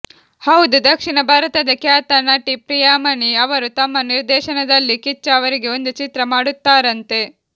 ಹೌದು ದಕ್ಷಿಣ ಭಾರತದ ಖ್ಯಾತ ನಟಿ ಪ್ರಿಯಾಮಣಿ ಅವರು ತಮ್ಮ ನಿರ್ದೇಶನದಲ್ಲಿ ಕಿಚ್ಚ ಅವರಿಗೆ ಒಂದು ಚಿತ್ರ ಮಾಡುತ್ತಾರಂತೆ